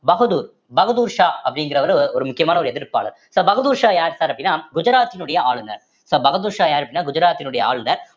பகதூர் பகதூர்ஷா அப்படிங்கிறவரு ஒரு முக்கியமான ஒரு எதிர்ப்பாளர் so பகதூர்ஷா யார் sir அப்படின்னா குஜராத்தினுடைய ஆளுநர் so பகதூர்ஷா யாரு அப்படின்னா குஜராத்தினுடைய ஆளுநர்